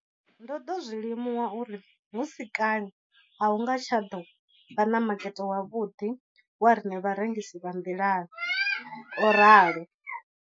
Ndo ḓo zwi limuwa uri hu si kale a hu nga tsha ḓo vha na makete wavhuḓi wa riṋe vharengisi vha nḓilani, o ralo.